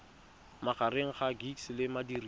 magareng ga gcis le modirisi